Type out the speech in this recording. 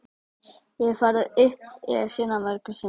Ég hef farið upp Esjuna mörgum sinnum.